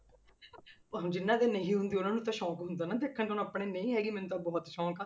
ਹੁਣ ਜਿੰਨਾਂ ਦੇ ਨਹੀਂ ਹੁੰਦੀ ਉਹਨਾਂ ਨੂੰ ਤਾਂ ਸ਼ੌਂਕ ਹੁੰਦਾ ਨਾ ਦੇਖਣ ਨੂੰ, ਹੁਣ ਆਪਣੇ ਨਹੀਂ ਹੈਗੀ ਮੈਨੂੰ ਤਾਂ ਬਹੁਤ ਸ਼ੌਂਕ ਆ